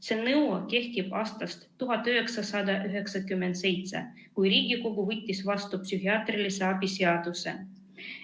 See nõue kehtib aastast 1997, kui Riigikogu võttis vastu psühhiaatrilise abi seaduse.